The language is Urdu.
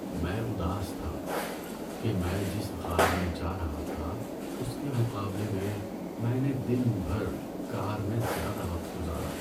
میں اداس تھا کہ میں جس غار میں جا رہا تھا اس کے مقابلے میں میں نے دن بھر کار میں زیادہ وقت گزارا۔